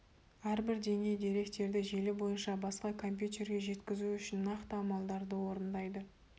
әрбір деңгей деректерді желі бойынша басқа компьютерге жеткізу үшін нақты амалдарды орындайды